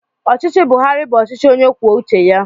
Ọchịchị Buharị bụ ọchịchị onye kwuo uche ya.